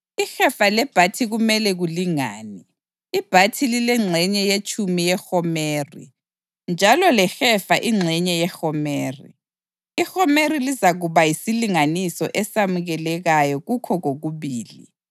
Ihefa lebhathi kumele kulingane, ibhathi lilengxenye yetshumi yehomeri njalo lehefa ingxenye yehomeri; ihomeri lizakuba yisilinganiso esamukelekayo kukho kokubili.